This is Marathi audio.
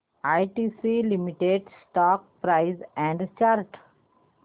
ITC limited stock price and chart